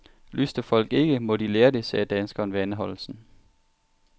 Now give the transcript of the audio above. Lystrer folk ikke, må de lære det, sagde danskeren ved anholdelsen.